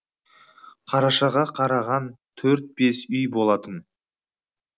қарашаға қараған төрт бес үй болатын